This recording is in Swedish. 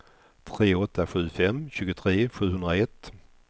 tre åtta sju fem tjugotre sjuhundraett